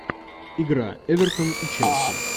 игра эвертон и челси